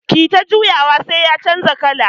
Kiyi ta juyawa sai ya canja kala.